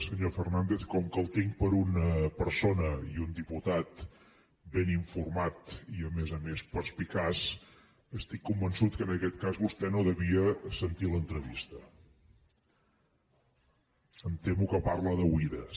senyor fernàndez com que el tinc per una persona i un diputat ben informat i a més a més perspicaç estic convençut que en aquest cas vostè no devia sentir l’entrevista em temo que parla d’oïda